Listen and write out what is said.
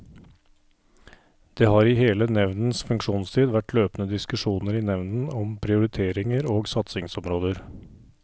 Det har i hele nevndens funksjonstid vært løpende diskusjoner i nevnden om prioriteringer og satsingsområder.